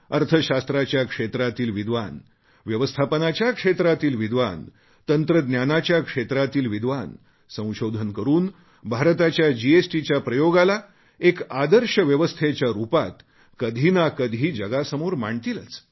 अर्थशास्त्राच्या क्षेत्रातील विद्वान व्यवस्थापनाच्या क्षेत्रातील विद्वान तंत्रज्ञानाच्या क्षेत्रातील विद्वान संशोधन करून भारताच्या जीएसटीच्या प्रयोगाला एका आदर्श व्यवस्थेच्या रूपात कधी ना कधी जगासमोर मांडतीलच